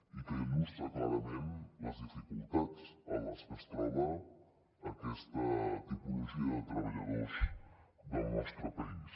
i que il·lustra clarament les dificultats en les que es troba aquesta tipologia de treballadors del nostre país